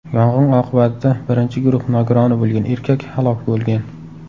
Yong‘in oqibatida birinchi guruh nogironi bo‘lgan erkak halok bo‘lgan.